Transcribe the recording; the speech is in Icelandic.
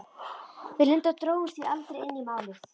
Við Linda drógumst því aldrei inn í Málið.